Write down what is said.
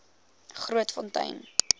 grootfontein